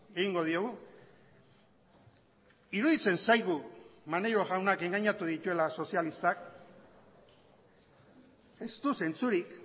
egingo diogu iruditzen zaigu maneiro jaunak engainatu dituela sozialistak ez du zentzurik